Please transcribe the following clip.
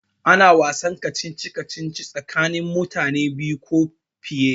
Ana wasan kacici kacici tsakanin mutane biyu ko fiye